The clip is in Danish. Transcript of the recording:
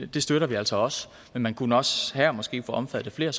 det støtter vi altså også men man kunne også her måske få omfattet flere